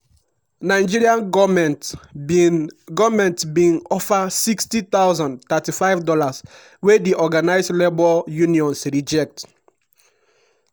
nigeria goment bin goment bin offer 60000 ($35) wey di organised labour unions reject.